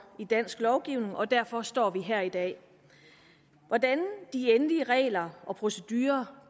i dansk lovgivning og derfor står vi her i dag hvordan de endelige regler og procedurerne